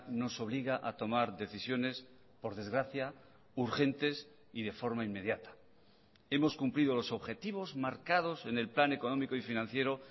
nos obliga a tomar decisiones por desgracia urgentes y de forma inmediata hemos cumplido los objetivos marcados en el plan económico y financiero